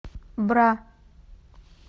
бра